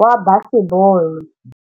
wa basebôlô.